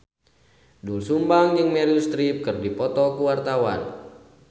Doel Sumbang jeung Meryl Streep keur dipoto ku wartawan